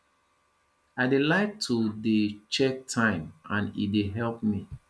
i dey like to dey check time and e dey help me